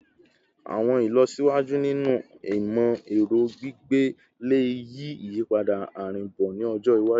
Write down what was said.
Awọn ilọsiwaju ninu imọ-ẹrọ gbigbe le yi iyipada arinbo ni ọjọ iwaju